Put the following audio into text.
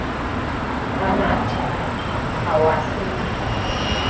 amathe akhe awasenalo